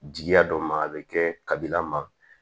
Jigiya dɔ ma a bɛ kɛ kabila ma